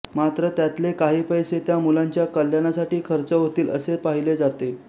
मात्र त्यातले काही पैसे त्या मुलाच्या कल्याणासाठी खर्च होतील असे पाहिले जाते